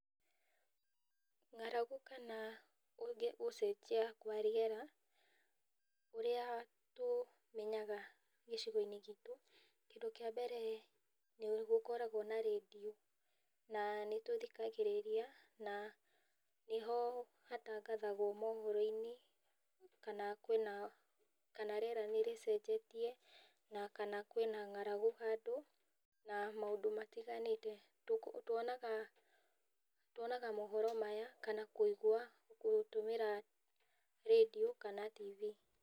Ng'aragu kana gũcenjia kwa rĩera ũrĩa tũmenyaga gĩcigo-inĩ gitũ, kĩndũ kĩa mbere nĩ gũkũragwo na radio na nĩtũthikagĩrĩria na nĩ ho hatangathagwo mohoro-inĩ kana kwĩna kana rĩera nĩ rĩcenjetie na kana kwĩna ng'aragu handũ na maũndũ matiganĩte twonaga mohoro maya kana kũigua gũtũmĩra radio kana TV.